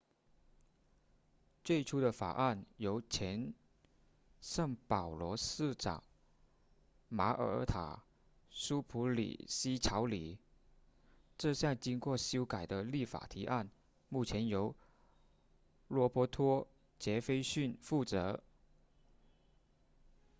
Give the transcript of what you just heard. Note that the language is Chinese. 最初的法案由前圣保罗市长玛尔塔苏普里希草拟这项经过修改的立法提案目前由罗伯托杰斐逊负责